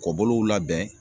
Kɔ bolow labɛn